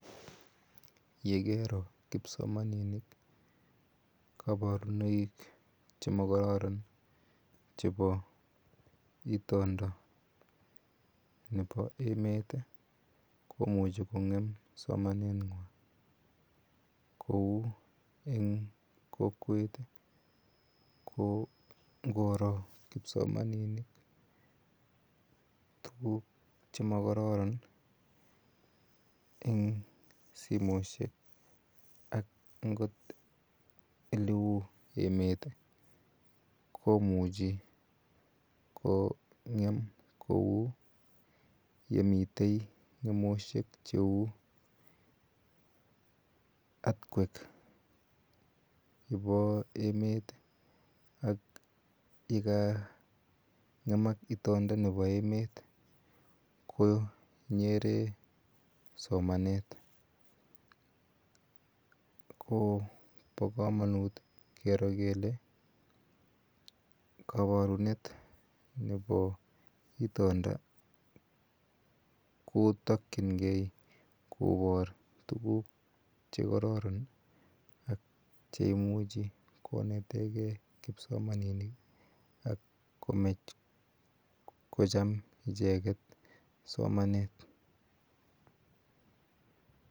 Yegero kipsomaninik, kabarunoik chemakororon, chebo itondo nebo emet, komuchi kong'em somanegwai. Kou eng kokwenyu ko ngoro kipsomaninik, tukuk chemagororon, eng simoshek ak ngot eleu emet komuchi kong'em kou komi ng'emoshek kou yemitei cheu earth quack. Yebo emet ak yeka ng'emak itonda somanet. Ko bokomanut keri kele kabarunet nebo itonda kotakchingei kobar tukuk chekororon. Atio imuchi konetegei kipsomaninik ak komachkocham icheket somanet.